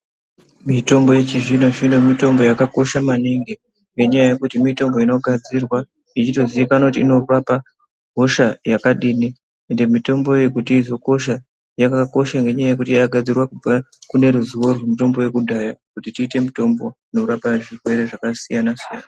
Mitombo yechizvino zvino mitombo yakakosha maningi ngenyaya yekuti mitombo inotogadzirwa ichitozikanwa kuti inorape hosha yakadini ende mitombo iyi kuti izokosha yakakosha ngekuti yakagadzirwa kune ruzivo rwemutombo yekudhaya kuti iite mitombo inorape zvirwere zvakasiyana siyana.